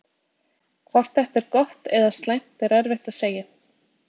hvort þetta er gott eða slæmt er erfitt að segja